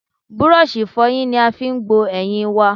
Búrọ́ṣì ìfọyín ni a fi gbo eyín i wa.